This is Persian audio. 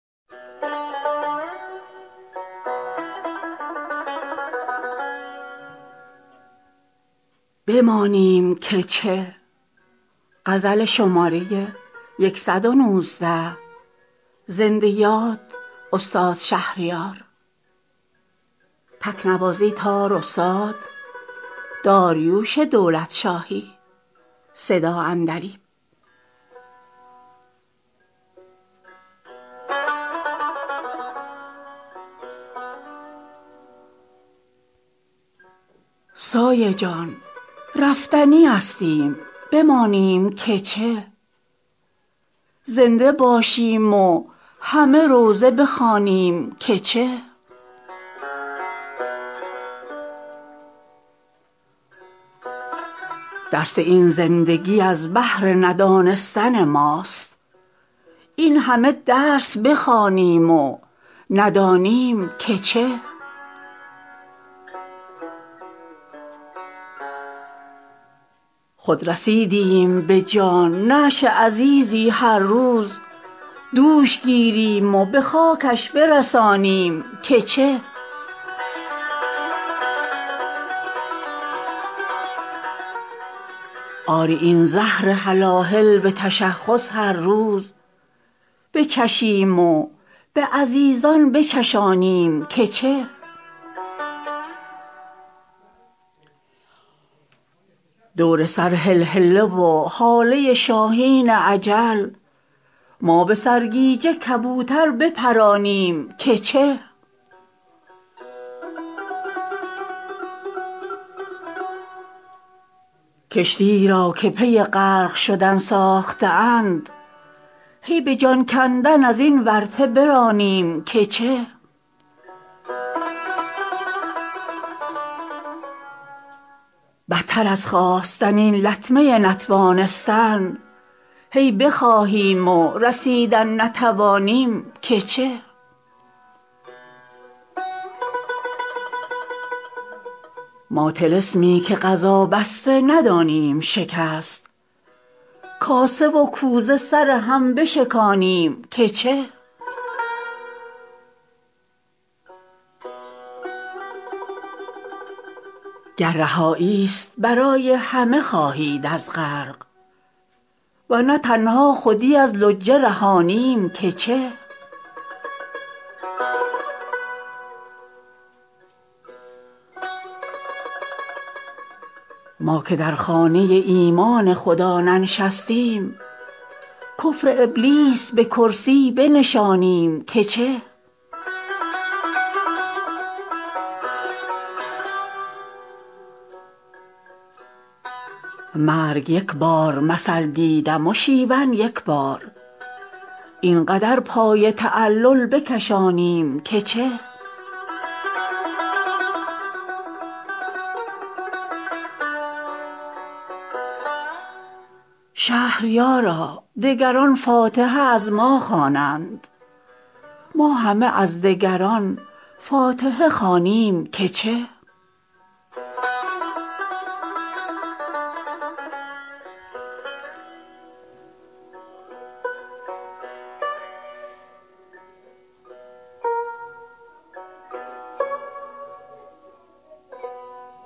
سایه جان رفتنی استیم بمانیم که چه زنده باشیم و همه روضه بخوانیم که چه درس این زندگی از بهر ندانستن ماست این همه درس بخوانیم و ندانیم که چه خود رسیدیم به جان نعش عزیزی هر روز دوش گیریم و به خاکش برسانیم که چه آری این زهر هلاهل به تشخص هر روز بچشیم و به عزیزان بچشانیم که چه دور سر هلهله و هاله شاهین اجل ما به سرگیجه کبوتر بپرانیم که چه کشتی ای را که پی غرق شدن ساخته اند هی به جان کندن از این ورطه برانیم که چه قسمت خرس و شغال است خود این باغ مویز بی ثمر غوره چشمی بچلانیم که چه بدتر از خواستن این لطمه نتوانستن هی بخواهیم و رسیدن نتوانیم که چه ما طلسمی که قضا بسته ندانیم شکست کاسه و کوزه سر هم بشکانیم که چه گر رهایی ست برای همه خواهید از غرق ورنه تنها خودی از لجه رهانیم که چه ما که در خانه ایمان خدا ننشستیم کفر ابلیس به کرسی بنشانیم که چه قاتل مرغ و خروسیم یکیمان کمتر این همه جان گرامی بستانیم که چه مرگ یک بار مثل دیدم و شیون یک بار این قدر پای تعلل بکشانیم که چه شهریارا دگران فاتحه از ما خوانند ما همه از دگران فاتحه خوانیم که چه